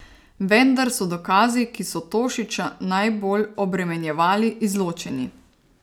Vendar so dokazi, ki so Tošića najbolj obremenjevali, izločeni.